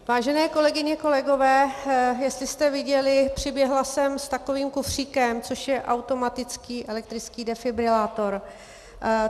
Vážené kolegyně, kolegové, jestli jste viděli, přiběhla jsem s takovým kufříkem, což je automatický elektrický defibrilátor.